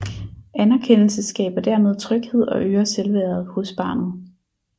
Anerkendelse skaber dermed tryghed og øger selvværdet hos barnet